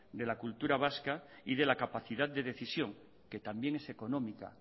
de la cultura vasca y de la capacidad de decisión que también es económica